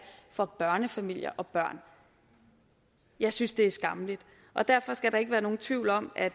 for børnefamilier og børn jeg synes det er skammeligt og derfor skal der ikke være nogen tvivl om at